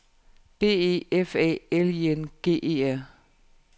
B E F A L I N G E R